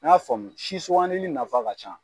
An y'a faamu si sugandeli nafa ka ca.